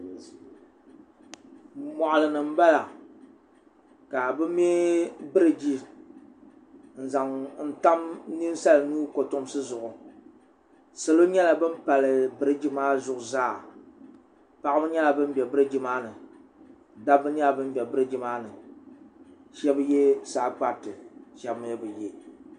moɣali ni n bala ka bi mɛ biriji n zaŋ tam ninsal nuu kotomsi zuɣu salo nyɛla bin pali biriji maa zuɣu zaa paɣaba nyɛla bin bɛ biriji maa ni dabba nyɛla bin bɛ biriji maa ni shab yɛ saa kpariti shab mii bi yɛ